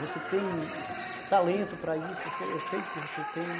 Você tem talento para isso, eu sei sei que você tem.